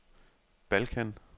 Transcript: Balkan